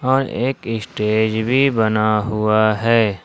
और एक स्टेज भी बना हुआ है।